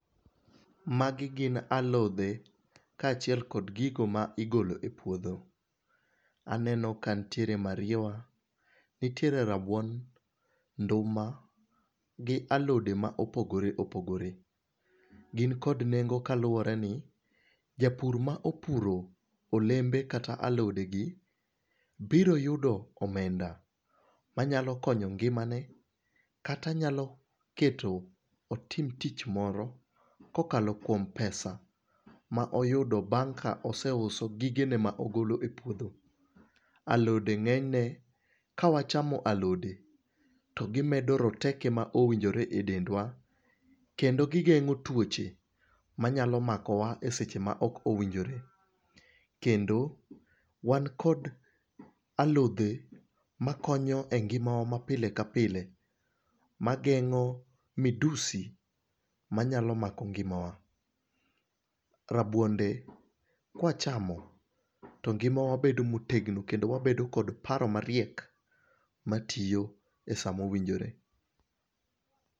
Magi gin alode kachiel kod gigo maigolo e puodho. Aneno kantiere mariewa, ntiere rabuon, nduma, gi alode maopogore opogore. Gin kod nengo kaluoreni japur maopuro olembe kata alodegi biro yudo omenda manyalo konyo ngimane, kata nyalo keto otim tich moro kokalo kuom pesa maoyudo bang' kaoseuso gigene maogolo e puodho. Alode ng'enyne kawachamo alode to gimedo roteke maowinjore e dendwa, kendo gigeng'o tuoche manyalo makowa e seche maokowinjore, kendo wankod alode makonyo e ngimawa mapile kapile mageng'o medusi manyalo mako ngimawa. Rabuonde kwachamo to ngimawa bedo motegno kendo wabedo kod paro mariek matiyo e sa mowinjore.